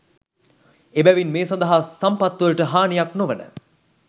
එබැවින් මේ සඳහා සම්පත්වලට හානියක් නොවන,